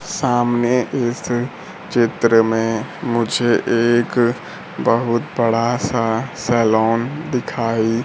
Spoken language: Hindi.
सामने इस चित्र में मुझे एक बहुत बड़ा सा सालोंन दिखाई--